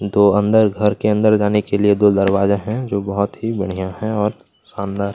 दो अंदर घर के अंदर जाने के लिए दो दरवाज़ा है जो बहुत ही बढ़िया है और शानदार --